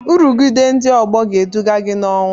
Nrụgide ndị ọgbọ ga-eduga gị n'ọnwụ